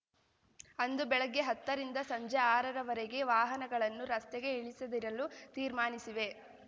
ಅಂದು ಬೆಳಗ್ಗೆ ಹತ್ತರಿಂದ ಸಂಜೆ ಆರರವರೆಗೆ ವಾಹನಗಳನ್ನು ರಸ್ತೆಗೆ ಇಳಿಸದಿರಲು ತೀರ್ಮಾನಿಸಿವೆ